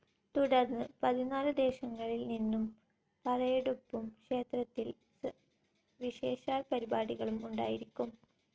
തുടർന്ന് പതിനാലുദേശങ്ങളിൽ നിന്നും പറയെടുപ്പും ക്ഷേത്രത്തിൽ വിശേഷാൽ പരിപാടികളും ഉണ്ടായിരിക്കും.